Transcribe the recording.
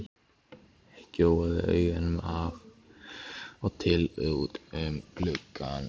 Gjóaði augunum af og til út um gluggann.